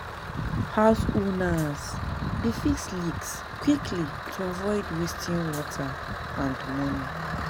Homeowners dey fix leaks quickly to avoid wasting water and money.